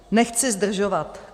Nechci zdržovat.